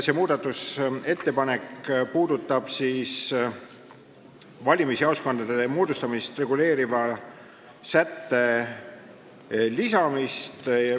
See muudatusettepanek näeb ette valimisjaoskondade moodustamist reguleeriva sätte lisamist.